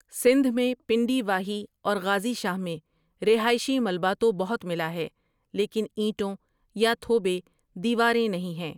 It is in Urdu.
سندھ میں پنڈی واہی اور غازی شاہ میں رہائشی ملبہ تو بہت ملا ہے لیکن اینٹوں یا تھوبے دیواریں نہیں ہیں۔